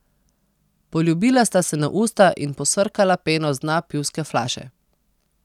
Poljubila sta se na usta in posrkala peno z dna pivske flaše.